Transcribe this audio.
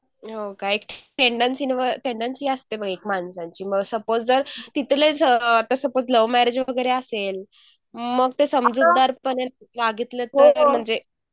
हं काय टेंडन्सी न्हवं टेंडन्सी असते म्हण एक माणसांची सपोज तर तिथंले जर आता सपोज लव्ह म्यॅरेज वगैरे असेल मग तसं समजूतदारपणे मागितले तरीपण म्हणजे